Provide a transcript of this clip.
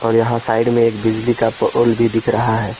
और यहां साइड में एक बिजली का पोल भी दिख रहा है।